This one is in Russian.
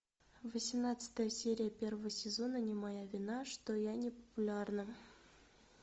восемнадцатая серия первого сезона не моя вина что я не популярна